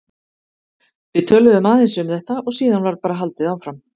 Við töluðum aðeins um þetta og síðan var bara haldið áfram.